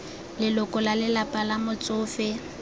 leloko la lelapa la motsofe